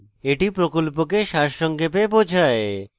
এটি প্রকল্পকে সারসংক্ষেপে বোঝায়